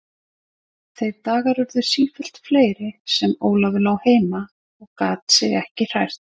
Þeir dagar urðu sífellt fleiri sem Ólafur lá heima og gat sig ekki hrært.